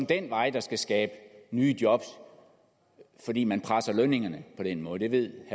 den vej der skal skabes nye job fordi man presser lønningerne på den måde det ved